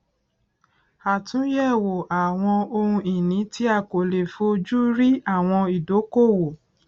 àtúnyẹwò àwọn ohun ìní tí a kò lè fó ojú rí àwọn ìdókòwò